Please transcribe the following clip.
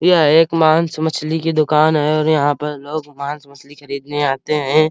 यह एक मांस मछली की दुकान है और यहां पर लोग मांस मछली खरीदने आते हैं।